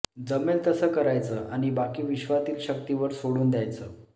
जमेल तसं करायचं आणि बाकी विश्वातील शक्तीवर सोडून द्यायचं